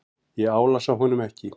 Ég álasa honum ekki.